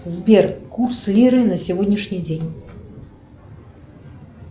сбер курс лиры на сегодняшний день